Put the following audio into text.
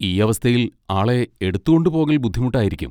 ഈ അവസ്ഥയിൽ ആളെ എടുത്തു കൊണ്ടുപോകൽ ബുദ്ധിമുട്ടായിരിക്കും.